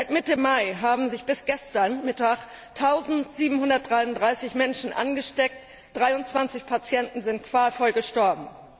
Seit Mitte Mai haben sich bis gestern Mittag 1733 Menschen angesteckt, 23 Patienten sind qualvoll gestorben.